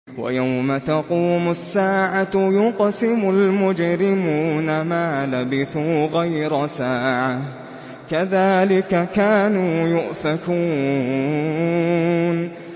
وَيَوْمَ تَقُومُ السَّاعَةُ يُقْسِمُ الْمُجْرِمُونَ مَا لَبِثُوا غَيْرَ سَاعَةٍ ۚ كَذَٰلِكَ كَانُوا يُؤْفَكُونَ